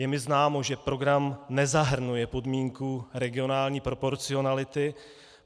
Je mi známo, že program nezahrnuje podmínku regionální proporcionality.